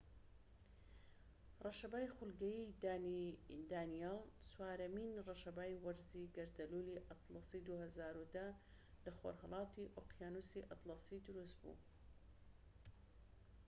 ڕەشەبای خولگەیی دانیێل چوارەمین ڕەشەبای وەرزی گەردەلوولی ئەتڵەسی 2010 لە خۆرھەڵاتی ئۆقیانوسی ئەتڵەسی دروست بوو